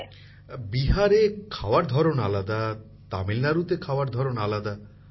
প্রধানমন্ত্রী জীঃ বিহারে খাওয়ার ধরন আলাদা তামিলনাড়ুতে খাওয়ার ধরন আলাদা